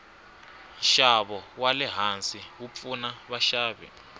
nshavo walehhansi wupfuna vashavi